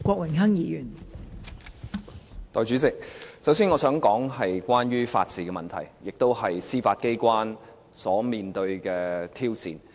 代理主席，首先我想談關於法治的問題，包括司法機關所面對的挑戰。